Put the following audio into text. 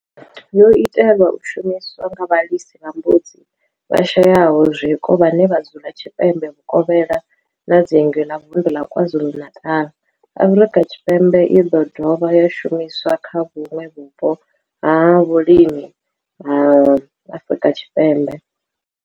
yo itelwa u shumiswa nga vhalisa vha mbudzi vhashayaho zwiko vhane vha dzula tshipembe vhuvokhela na dzingu la Vundu la KwaZulu-Natal, Afrika Tshipembe i do dovha ya shumiswa kha vhuṋwe vhupo ha vhulimi ha Afrika Tshipembe.